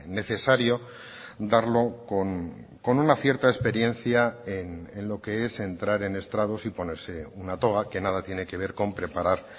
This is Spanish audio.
necesario darlo con una cierta experiencia en lo que es entrar en estrados y ponerse una toga que nada tiene que ver con preparar